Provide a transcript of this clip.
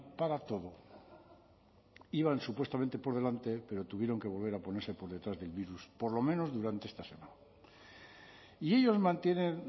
para todo iban supuestamente por delante pero tuvieron que volver a ponerse por detrás del virus por lo menos durante esta semana y ellos mantienen